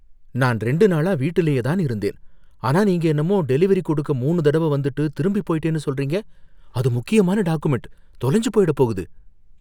நான் ரெண்டு நாளா வீட்டுலயே தான் இருந்தேன், ஆனா நீங்க என்னமோ டெலிவெரி கொடுக்க மூணு தடவ வந்துட்டு திரும்பி போயிட்டேன்னு சொல்றீங்க, அது முக்கியமான டாக்குமெண்ட், தொலைஞ்சு போயிடப்போகுது.